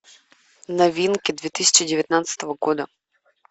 новинки две тысячи девятнадцатого года